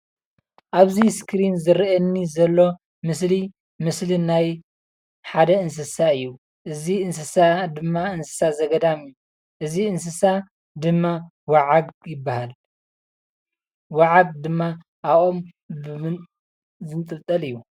ኣብዚ ስክሪን ዝረኣየኒ ዘሎ ምስሊ ምስሊ ናይ ሓደ እንሰሳ እዩ። እዚ እንስሳ ድማ እንስሳ እንስሳ ዘገዳም እዩ፤።እዚ እንስሳ ድማ ወዓግ ይበሃል። ወዓግ ድማ ኣብ ኦም ዝንጥልጠል እዩ።